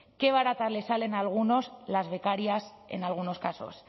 qué baratas les salen a algunos las becarias en algunos casos